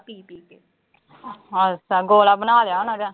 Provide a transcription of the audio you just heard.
ਆਹੋ ਤੈਂ ਗੋਲਾ ਬਣਾ ਲਿਆ ਹੋਣਾ।